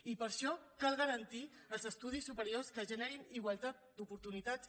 i per això cal garantir els estudis superiors que generin igualtat d’oportunitats